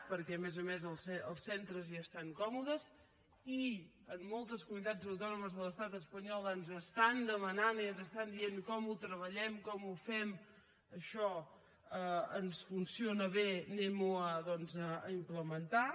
perquè a més a més els centres hi estan còmodes i en moltes comunitats autònomes de l’estat espanyol ens estan demanant i ens estan dient com ho treballem com ho fem això ens funciona bé anem ho doncs a implementar